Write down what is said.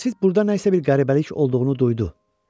Qasid burda nəsə bir qəribəlik olduğunu duydu.